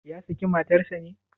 Ya sake matar sa ne?